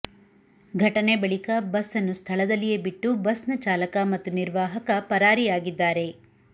ಘಟನೆ ಬಳಿಕ ಬಸ್ ನ್ನು ಸ್ಥಳದಲ್ಲಿಯೇ ಬಿಟ್ಟು ಬಸ್ನ ಚಾಲಕ ಮತ್ತು ನಿರ್ವಾಹಕ ಪರಾರಿಯಾಗಿದ್ದಾರೆ